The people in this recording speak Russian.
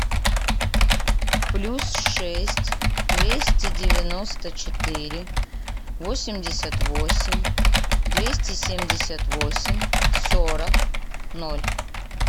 плюс шесть двести девяносто четыре восемьдесят восемь двести семьдесят восемь сорок ноль